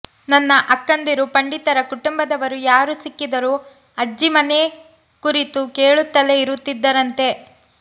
ನನ್ನ ಅಕ್ಕಂದಿರು ಪಂಡಿತರ ಕುಟುಂಬದವರು ಯಾರು ಸಿಕ್ಕಿದರೂ ಅಜ್ಜಿ ಮನೆ ಕುರಿತು ಕೇಳುತ್ತಲೇ ಇರುತ್ತಿದ್ದರಂತೆ